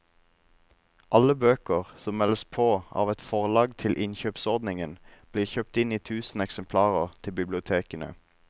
Alle bøker som meldes på av et forlag til innkjøpsordningen blir kjøpt inn i tusen eksemplarer til bibliotekene.